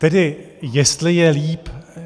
Tedy jestli je líp?